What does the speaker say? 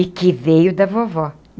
E que veio da vovó.